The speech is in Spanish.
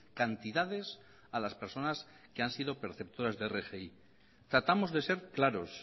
cantidades a las personas que han sido perceptoras de rgi tratamos de ser claros